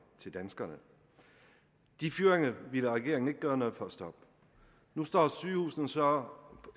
til danskerne de fyringer ville regeringen ikke gøre noget for at stoppe nu står sygehusene så